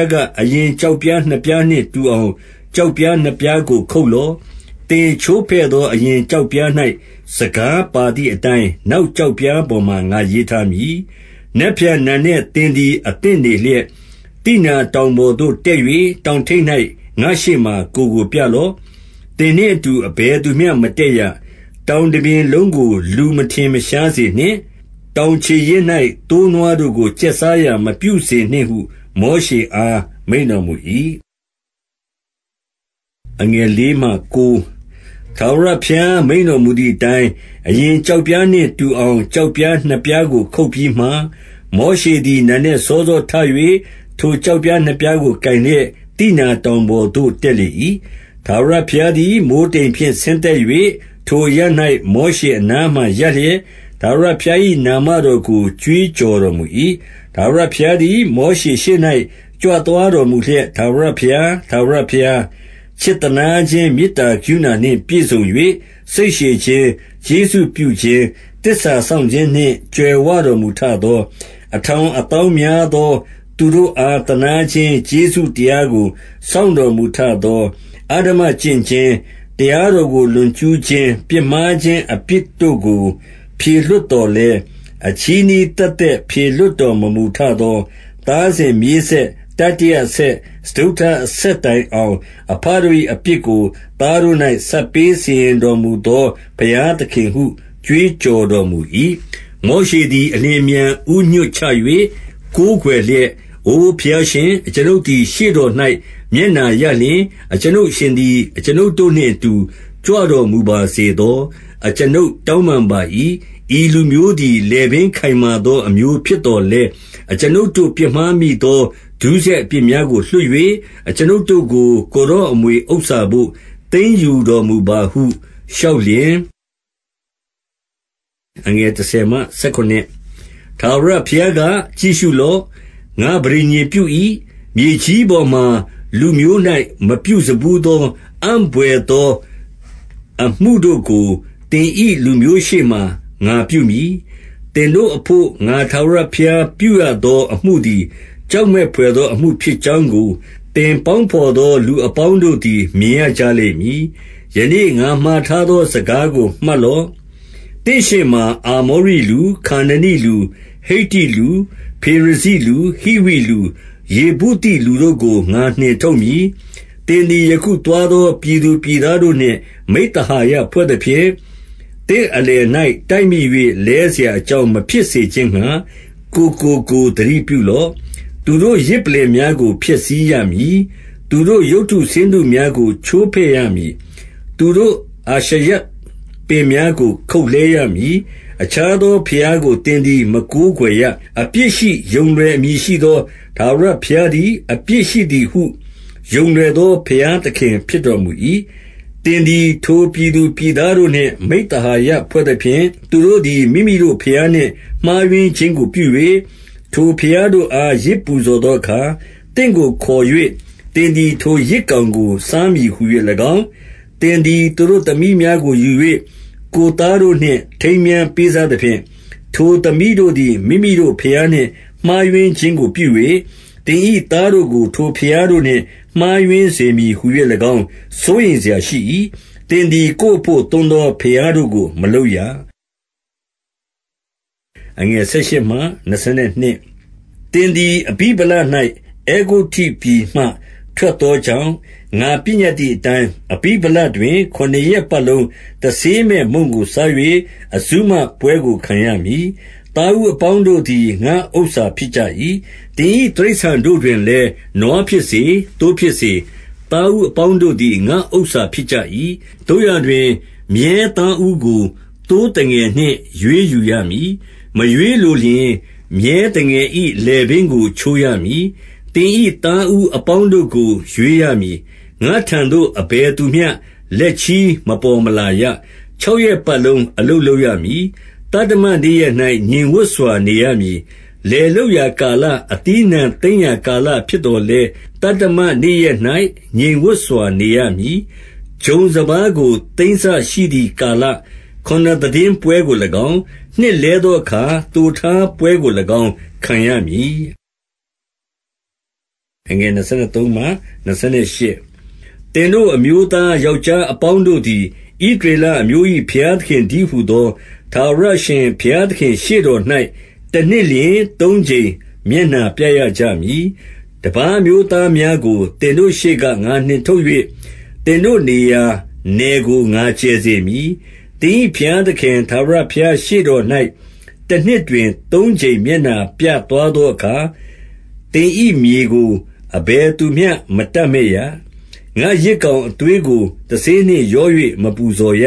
ားက၊ အရင်ကျောက်ပြားနှစ်ပြားနှင့်တူအောင် ကျောက်ပြားနှစ်ပြားကို ခုတ်လော့။ သင်ချိုးဖဲ့သော အရင်ကျောက်ပြား၌ စကားပါသည်အတိုင်း နောက်ကျောက်ပြားပေါ်မှာ ငါရေးထားမည်။ 2 နက်ဖြန်နံနက်သင်သည် အသင့်နေလျက်၊ သိနာတောင်ပေါ်သို့ တက်၍ တောင်ထိပ်၌ ငါ့ရှေ့မှာကိုယ်ကို ပြလော့။ 3 သင်နှင့်အတူ အဘယ်သူမျှ မတက်ရ။ တောင်တပြင်လုံး၌ လူကို မထင်ရှားစေနှင့်။ တောင်ခြေရင်း ၌ သိုးနွားတို့ကို ကျက်စားရာမပြုစေနှင့်ဟု မောရှေအား မိန့်တော်မူ၏။ 4 ထာဝရဘုရား မိန့်တော်မူသည်အတိုင်း၊ အရင်ကျောက်ပြားနှင့်တူအောင် ကျောက်ပြားနှစ်ပြားကို ခုတ်ပြီးမှ၊ မောရှေသည် နံနက်စောစောထ၍ ထိုကျောက်ပြားနှစ်ပြားကို ကိုင်လျက်၊ သိနာတောင်ပေါ်သို့ တက်လေ၏။ 5 ထာဝရဘုရားသည် မိုဃ်းတိမ်ဖြင့် ဆင်းသက်၍၊ ထိုအရပ်၌ မောရှေအနားမှာရပ်လျက်၊ ထာဝရ ဘုရား၏နာမတော်ကို ကြွေးကြော်တော်မူ၏။ 6 ထာဝရဘုရားသည် မောရှေရှေ့၌ ကြွသွားတော်မူလျက်၊ ထာဝရဘုရား၊ ထာဝရဘုရား၊ ချစ်သနား ခြင်း မေတ္တာကရုဏာနှင့်ပြည့်စုံ၍ စိတ်ရှည်ခြင်း၊ ကျေးဇူးပြုခြင်း၊ သစ္စာစောင့်ခြင်းနှင့် ကြွယ်ဝတော်မူထသော၊ 7 အထောင်အသောင်းများသောသူတို့အား သနားခြင်း ကျေးဇူးတရားကို စောင့်တော်မူထသော၊ အဓမ္မကျင့်ခြင်း၊ တရားတော်ကို လွန်ကျူးခြင်း၊ ပြစ်မှားခြင်းအပြစ်တို့ကို ဖြေလွှတ်သော်လည်း၊ အချည်းနှီး သက်သက် ဖြေလွှတ်တော်မမူထသော၊ သားစဉ်မြေးဆက်၊ တတိယအဆက်၊ စတုတ္ထအဆက်တိုင်အောင်၊ အဘတို့၏ အပြစ်ကိုသားတို့၌ ဆပ်ပေးစီရင်တော်မူသော ဘုရားသခင်ဟု ကြွေးကြော်တော်မူ၏။ 8 မောရှေသည် အလျင်အမြန် ဦးညွှတ်ချ၍ ကိုးကွယ်လျက်။ 9 အိုဘုရားရှင်၊ အကျွန်ုပ်သည် ရှေ့တော်၌ မျက်နှာရလျှင်၊ အကျွန်ုပ်အရှင်သည် အကျွန်ုပ်တို့နှင့်အတူ ကြွတော်မူပါစေသော၊ အကျွန်ုပ်တောင်းပန်ပါ၏။ ဤလူမျိုးသည် လည်ပင်းခိုင်မာသော အမျိုးဖြစ်သော်လည်း၊ အကျွန်ုပ်တို့ပြစ်မှားမိသော ဒုစရိုက်အပြစ်များကို လွှတ်၍ အကျွန်ုပ်တို့ကို ကိုယ်တော်အမွေဥစ္စာတို့ သိမ်းယူတော် မူပါဟုလျှောက်လျှင်၊ 10 ထာဝရဘုရားက၊ ကြည့်ရှုလော့။ ငါပဋိညာဉ်ပြု၏။ မြေကြီးပေါ်မှာ လူမျိုး၌ မပြုစဖူးသော အံ့ဘွယ်သောအမှုတို့ကို သင်၏လူမျိုးရှေ့မှာ ငါပြုမည်။ သင်တို့အဘို့ ငါထာဝရဘုရား ပြုရသောအမှုသည် ကြောက်မက်ဘွယ်သောအမှု ဖြစ်ကြောင်းကို သင်ပေါင်းဘော်သော လူအပေါင်းတို့သည် မြင်ရကြလိမ့်မည်။ 11 ယနေ့ငါမှာထားသော စကားကို မှတ်လော့။ သင့်ရှေ့မှာ အာမောရိလူ၊ ခါနနိလူ၊ ဟိတ္တိလူ၊ ဖေရဇိလူ၊ ဟိဝိလူ၊ ယေဗုသိလူတို့ကို ငါနှင်ထုတ်မည်။ 12 သင်သည် ယခုသွားသော ပြည်သူပြည်သားတို့နှင့် မိဿဟာယဖွဲ့သဖြင့်၊ သင့်အလယ်၌ တိုက်မိ၍ လဲစရာအကြောင်းမဖြစ်စေခြင်းငှာ၊ ကိုယ်ကိုကိုယ်သတိပြုလော့။ 13 သူတို့ယဇ်ပလ္လင်များကို ဖျက်ဆီးရမည်။ သူတို့ရုပ်တုဆင်းတုများကို ချိုးဖဲ့ရမည်။ သူတို့ အာရှရပင် များကို ခုတ်လှဲရမည်။ 14 အခြားသောဘုရားကို သင်သည် မကိုးကွယ်ရ။ အပြစ်ရှိယုံလွယ်အမည်ရှိသော ထာဝရဘုရားသည် အပြစ်ရှိသည်ဟု ယုံလွယ်သော ဘုရားသခင်ဖြစ်တော်မူ၏။ 15 သင်သည် ထိုပြည်သူပြည်သားတို့နှင့် မိဿဟာယ ဖွဲ့သဖြင့်၊ သူတို့သည် မိမိတို့ဘုရားနှင့် မှားယွင်းခြင်းကို ပြ၍၊ ထိုဘုရားတို့အား ယဇ်ပူဇော်သောအခါ၊ သင့်ကို ခေါ်၍သင်သည် ထိုယဇ်ကောင်ကို စားမည်ဟူ၍ ၎င်း၊ 16 သင်သည် သူတို့ သမီးများကိုယူ၍၊ ကိုယ်သားတို့နှင့် ထိမ်းမြားပေးစားသဖြင့်၊ ထိုသမီးတို့သည် မိမိတို့ ဘုရားနှင့် မှားယွင်းခြင်းကို ပြု၍ သင်၏သားတို့ကို ထိုဘုရားတို့နှင့် မှားယွင်းစေမည်ဟူ၍၎င်း စိုးရိမ်စရာ ရှိ၏။ 17 သင်သည် ကိုယ်အဘို့ သွန်းသော ဘုရားတို့ကို မလုပ်ရ။ 18 သင်သည် အဗိဗလ၌ အဲဂုတ္တုပြည်မှ ထွက်သောကြောင့်၊ ငါပညတ်သည်အတိုင်း၊ အဗိဗလတွင် ခုနစ်ရက်ပတ်လုံး တဆေးမဲ့မုန့်ကို စား၍ အဇုမပွဲကို ခံရမည်။ 19 သားဦးအပေါင်းတို့သည် ငါ့ဥစ္စာဖြစ်ကြ၏။ သင်၏တိရစ္ဆာန်တို့တွင်လည်း၊ နွားဖြစ်စေ၊ သိုးဖြစ်စေ၊ သားဦးအပေါင်းတို့သည် ငါ့ဥစ္စာဖြစ်ကြ၏။ သို့ရာတွင်၊ မြည်းသားဦးကို သိုးသငယ်နှင့် ရွေးယူရမည်။ 20 မရွေးလိုလျှင်၊ မြည်းသငယ်၏လည်ပင်းကို ချိုးရမည်။ သင်၏သားဦးအပေါင်းတို့ကို ရွေးရမည်။ ငါ့ထံသို့ အဘယ်သူမျှ လက်ချည်းမပေါ်မလာရ။ 21 ခြောက်ရက်ပတ်လုံး အလုပ်လုပ်ရမည်။ သတ္တမနေ့ရက်၌ ငြိမ်ဝပ်စွာ နေရမည်။ လယ်လုပ်ရာ ကာလ၊ အသီးအနှံသိမ်းရာကာဖြစ်သော်လည်း၊ သတ္တမနေ့ရက်၌ ငြိမ်ဝပ်စွာ နေရမည်။ 22 ဂျုံစပါးကို သိမ်းစရှိသည်ကာလခုနစ်သိတင်းပွဲကို၎င်း၊ နှစ်လဲသောအခါ သိုထားပွဲကို၎င်း ခံရမည်။ 23 သင်တို့ အမျိုးသား ယောက်ျားအပေါင်းတို့သည်၊ ဣသရေလအမျိုး၏ ဘုရားသခင်တည်းဟူသော ထာဝရအရှင်ဘုရား သခင့်ရှေ့တော်၌ တနှစ်လျှင် သုံးကြိမ်မျက်နှာပြရကြမည်။ 24 တပါးအမျိုးသားများကို သင်တို့ရှေ့က ငါနှင်ထုတ်၍၊ သင်တို့နေရာနယ်ကို ငါ ကျယ်စေမည်။ သင်၏ ဘုရားသခင် ထာဝရဘုရား ရှေ့တော်၌ တနှစ်တွင် သုံးကြိမ် မျက်နှာပြသွားသောအခါ၊ သင်၏မြေကို အဘယ်သူမျှ မတပ်မက်ရ။ 25 ငါ့ယဇ်ကောင်အသွေးကို တဆေးနှင့် ရော၍ မပူဇော်ရ